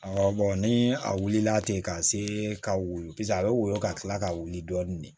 Awɔ ni a wulila ten ka se ka woyo paseke a bɛ woyɔ ka kila ka wuli dɔɔni de